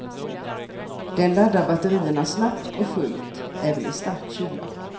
Den laddar batterierna snabbt och fullt, även i stark kyla.